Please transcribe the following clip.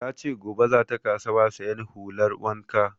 Ta ce gobe za ta kasuwa sayan hular wanka